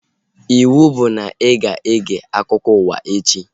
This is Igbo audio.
Ịwụ bụ na ị ga-ege akụkọ ụwa echi!